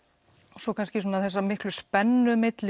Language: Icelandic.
og svo kannski þessa miklu spennu milli